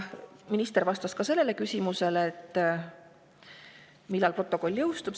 Minister vastas ka küsimusele, millal protokoll jõustub.